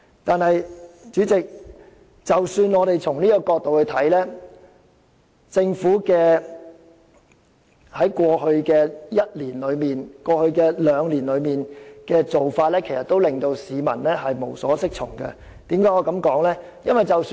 但是，主席，即使從這個角度而言，政府過去一兩年的做法仍令市民無所適從，為何我要這樣說呢？